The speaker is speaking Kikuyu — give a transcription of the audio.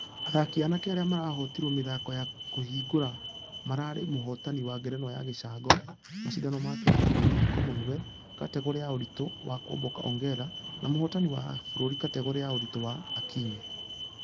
Athaki anake arĩa marahotirwo mĩthako ya kũhingũra mararĩ mũhotani wa ngerenwa ya gĩcango.. mashidano ma kĩmabũrũri commonwealth kategore ya ũritũ wa kuomboka ongare . Na mũhotani wa kĩbũrũri kategore ya ũritũ wa ....akinyi.